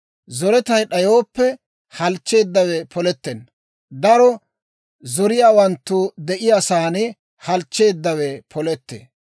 Zoretay d'ayooppe, halchcheeddawe polettenna; daro zoriyaawanttu de'iyaa saan halchcheeddawe polettee.